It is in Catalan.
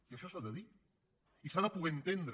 i això s’ha de dir i s’ha de poder entendre